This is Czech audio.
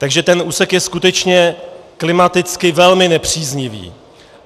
Takže ten úsek je skutečně klimaticky velmi nepříznivý.